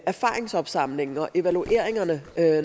erfaringsopsamlingen og evalueringerne